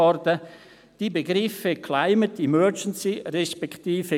«Die Begriffe ‹Climate Emergency› resp.